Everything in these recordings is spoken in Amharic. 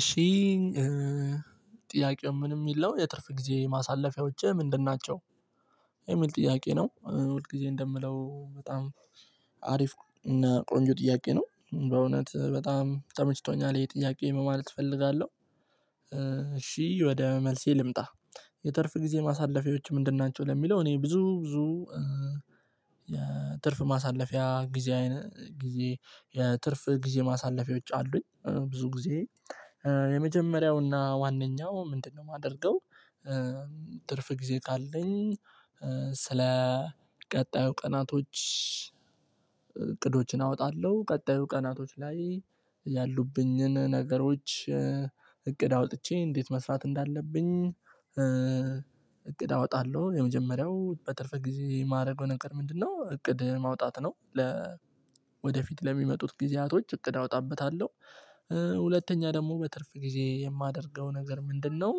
እሺ ጥያቄው ምን የሚል ነው የትርፍ ጊዜ ማሳለፊያዎችህ ምንድን ናቸው? የሚል ጥያቄ ነው ሁል ጊዜ እንደምለው በጣም አሪፍ እና ቆንጆ ጥያቄ ነው በእውነት በጣም ተመችቶኛል ይሄ ጥያቄ ማለት እፈልጋለሁ። እሺ ወደ መልሴ ልምጣ። የትርፍ ጊዜ ማሳለፊያዎች ምንድን ናቸው ለሚለው እኔ ብዙ ብዙ። የትርፍ ማሳለፊያ ጊዜ ጊዜ የትርፍ ጊዜ ማሳለፊያዎች አሉኝ ብዙ ጊዜ የመጀመሪያውና ዋነኛው ምንድነው የማደርገው? ትርፍ ጊዜ ካለኝ ስለ ቀጣዩ ቀናቶች እቅዶችን አወጣለሁ። ቀጣዩ ቀናቶች ላይ ያሉብኝን ነገሮች እቅድ አውጥቼ እንዴት መስራት እንዳለብኝ። እቅድ አወጣለሁ የመጀመሪያው በትርፍ ጊዜ የማረገው ነገር ምንድ ነው? እቅድ ማውጣት ነው። ለ ወደፊት ለሚመጡት ጊዜያቶች እቅድ አውጣበታለሁ። ሁለተኛ ደግሞ በትርፍ ጊዜ የማደርገው ነገር ምንድነው?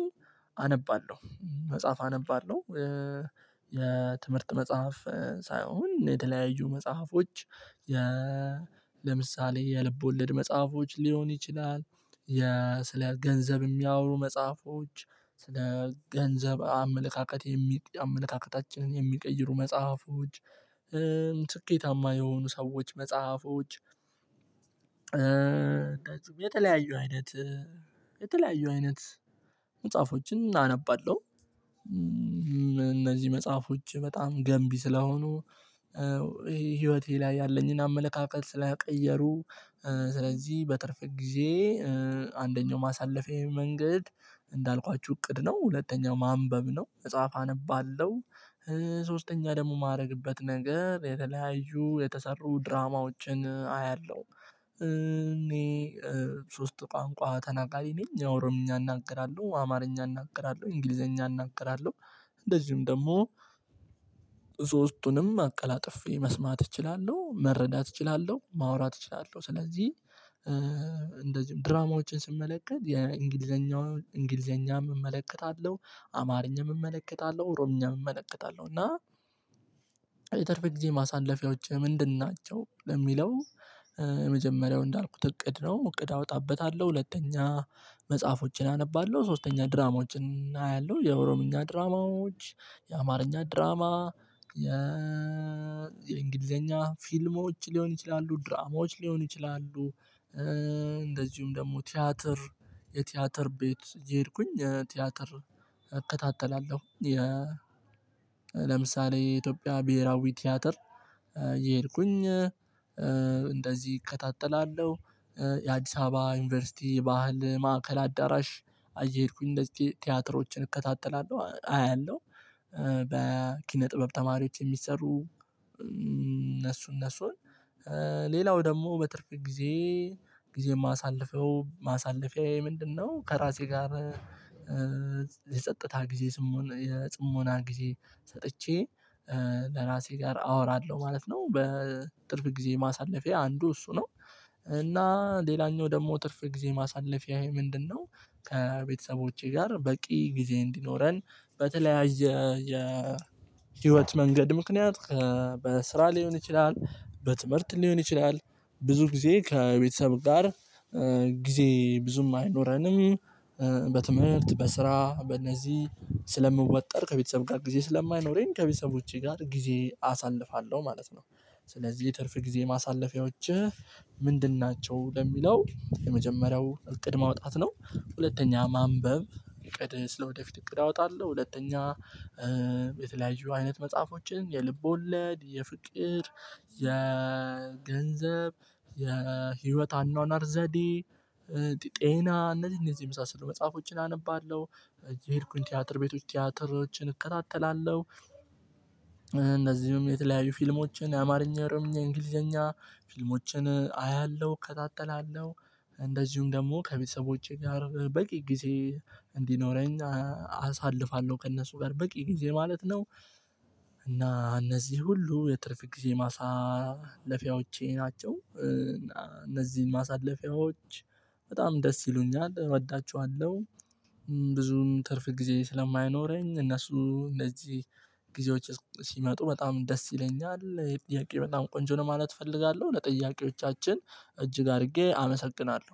አነባለሁ መጽሐፍ አነባለሁ። የትምህርት መጽሐፍ ሳይሆን የተለያዩ መጽሐፎች። ለምሳሌ የልብ ወለድ መጽሐፎች ሊሆን ይችላል። የ ስለ ገንዘብ የሚያወሩ መጽሐፎች ስለ ገንዘብ አመለካከት የሚ አመለካከታችንን የሚቀይሩ መጽሐፎች። ስኬታማ የሆኑ ሰዎች መጽሐፎች። የተለያዩ አይነት የተለያዩ አይነት መጽሐፎችን አነባለሁ። እነዚህ መጽሐፎች በጣም ገንቢ ስለሆኑ። ህይወቴ ላይ ያለኝን አመለካከት ስለቀየሩ። ስለዚህ በትርፍ ጊዜ አንደኛው ማሳለፌዬ መንገድ እንዳልኳችሁ እቅድ ነው ሁለተኛው ማንበብ ነው መጽሐፍ አነባለሁ። ሶስተኛ ደግሞ የማደርግበት ነገር የተለያዩ የተሰሩ ድራማዎችን አያለሁ። እኔ ሶስት ቋንቋ ተናቃሪ ነኝ ኦሮምኛ እናገራለሁ አማርኛ እናገራለሁ እንግሊዘኛ እናገራለሁ። እንደዚሁም ደግሞ ሶስቱንም አቀላጥፌ መስማት እችላለሁ መረዳት እችላለሁ ማውራት እችላለሁ። ስለዚህ እንደዚሁም ድራማዎችን ስመለከት የእንግሊዘኛ እንግሊዘኛም እመለከታለሁ አማርኛም እመለከታለሁ ኦሮምኛም እመለከታለሁ። እና የተረፈ ጊዜ ማሳለፊያዎችህ ምንድን ናቸው? ለሚለው የመጀመሪያው እንዳልኩት እቅድ ነው እቅድ አወጣበታለሁ። ሁለተኛ መጽሐፎችን አነባለሁ ሶስተኛ ድራማዎችን አያለሁ። የኦሮምኛ ድራማዎች የአማርኛ ድራማ የእንግሊዘኛ ፊልሞች ሊሆን ይችላሉ ድራማዎች ሊሆኑ ይችላሉ። እንደዚሁም ደግሞ ቲያትር የቲያትር ቤት እየሄድኩኝ ቲያትር እከታተላለሁ። ለምሳሌ የኢትዮጵያ ብሄራዊ ቲያትር እየሄድኩኝ እንደዚህ እከታተላለሁ። የአዲስ አበባ ዩኒቨርሲቲ ባህል ማዕከል አዳራሽ እየሄድኩኝ እንደዚህ ቲያትሮችን እከታተላለሁ አያለሁ። በኪነ ጥበብ ተማሪዎች የሚሰሩ እነሱ እነሱን ሌላው ደግሞ በትርፍ ጊዜ ጊዜ የማሳልፈው ማሳለፊያዬ ምንድነው? ከራሴ ጋር የጸጥታ ጊዜ የጽሞና ጊዜ ሰጥቼ ከራሴ ጋር አወራለሁ ማለት ነው። በትርፍ ጊዜ ማሳለፊያ አንዱ እሱ ነው። እና ሌላኛው ደግሞ ትርፍ ጊዜ ማሳለፊያዬ ምንድነው? ከቤተሰቦቼ ጋር በቂ ጊዜ እንዲኖረን በተለያየ የህይወት መንገድ ምክንያት በስራ ሊሆን ይችላል በትምህርት ሊሆን ይችላል። ብዙ ጊዜ ከቤተሰብ ጋር ጊዜ ብዙም አይኖረንም። በትምህርት በስራ በእነዚህ ስለምወጠር ከቤተሰብ ጋር ጊዜ ስለማይኖረኝ ከቤተሰብ ውጪ ጋር ጊዜ አሳልፋለሁ ማለት ነው። ስለዚህ የትርፍ ጊዜ ማሳለፊያዎችህ ምንድን ናቸው? ለሚለው የመጀመሪያው እቅድ ማውጣት ነው። ሁለተኛ ማንበብ እቅድ ስለወደፊት እቅድ አወጣለሁ። ሁለተኛ የተለያዩ አይነት መጽሐፎችን የልቦለድ የፍቅር የገንዘብ የህይወት አኗኗር ዘዴ ጤና እነዚህ እነዚህ የመሳሰሉ መጽሐፎችን አነባለሁ። እየሄድኩኝ ቲያትር ቤት ውስጥ ቲያትሮችን እከታተላለሁ። እነዚህም የተለያዩ ፊልሞችን የአማርኛ ኦሮምኛ እንግሊዘኛ ፊልሞችን አያለሁ እከታተላለሁ። እንደዚሁም ደግሞ ከቤተሰቦቼ ጋር በቂ ጊዜ እንዲኖረኝ አሳልፋለሁ ከእነሱ ጋር በቂ ጊዜ ማለት ነው። እና እነዚህ ሁሉ የትርፍ ጊዜ ማሳለፊያዎቼ ናቸው እነዚህን ማሳለፊያዎች በጣም ደስ ይሉኛል እወዳችኋለሁ። ብዙም ትርፍ ጊዜ ስለማይኖረኝ እነሱ እንደዚህ ጊዜዎች ሲመጡ በጣም ደስ ይለኛል። ጥያቄው በጣም ቆንጆ ነው ማለት እፈልጋለሁ። ለጥያቄዎቻችን እጅግ አድርጌ አመሰግናለሁ